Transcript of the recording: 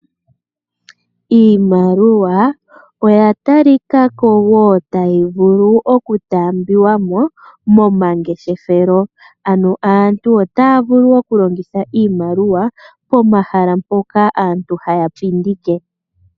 Iimaliwa oya tali ka ko woo tayi vulu oku taambiwa mo momangeshefelo. Aantu otaya vulu oku longitha iimaliwa pomahala mpoka aantu haya landithile.